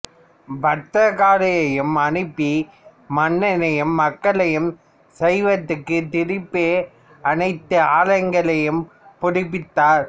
பத்திரகாளியையும் அனுப்பி மன்னனையும் மக்களையும் சைவத்திற்கு திருப்பி அனைத்து ஆலயங்களையும் புதுப்பித்தனர்